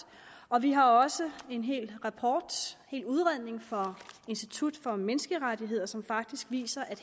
og vi har også en hel udredning fra institut for menneskerettigheder som faktisk viser at